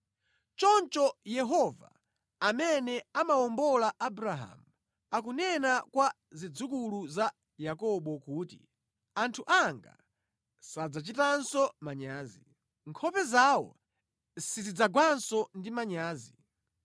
Choncho Yehova amene anawombola Abrahamu, akunena kwa zidzukulu za Yakobo kuti, “Anthu anga sadzachitanso manyazi; nkhope zawo sizidzagwanso ndi manyazi.